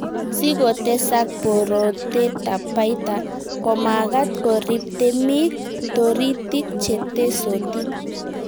Sikotesak borotetab baita, komagat koriib temik toritik chetesotin.